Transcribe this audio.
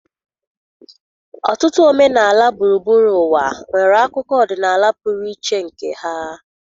Ọtụtụ omenala gburugburu ụwa nwere akụkọ ọdịnala pụrụ iche nke ha.